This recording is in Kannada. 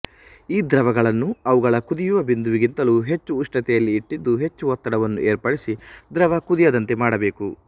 ಈ ದ್ರವಗಳನ್ನು ಅವುಗಳ ಕುದಿಯುವ ಬಿಂದು ವಿಗಿಂತಲೂ ಹೆಚ್ಚು ಉಷ್ಣತೆಯಲ್ಲಿ ಇಟ್ಟಿದ್ದು ಹೆಚ್ಚು ಒತ್ತಡವನ್ನು ಏರ್ಪಡಿಸಿ ದ್ರವ ಕುದಿಯದಂತೆ ಮಾಡಬೇಕು